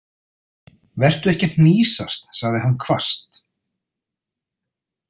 Vertu ekki að hnýsast, sagði hann hvasst.